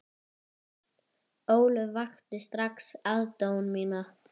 Ólöf vakti strax aðdáun mína.